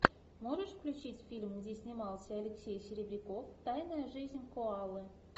можешь включить фильм где снимался алексей серебряков тайная жизнь коалы